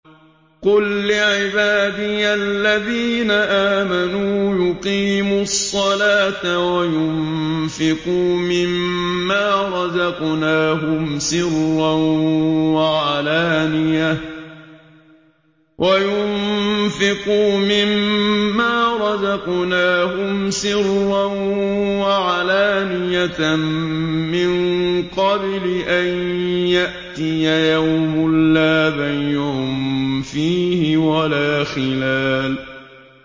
قُل لِّعِبَادِيَ الَّذِينَ آمَنُوا يُقِيمُوا الصَّلَاةَ وَيُنفِقُوا مِمَّا رَزَقْنَاهُمْ سِرًّا وَعَلَانِيَةً مِّن قَبْلِ أَن يَأْتِيَ يَوْمٌ لَّا بَيْعٌ فِيهِ وَلَا خِلَالٌ